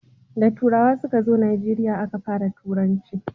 da turawa su ka zo najeriya a Ka fara turanci